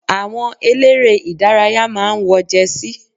Àwọn eléré ìdárayá máa ń wọ Jẹsí.